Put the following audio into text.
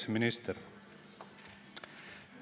Kaitseminister!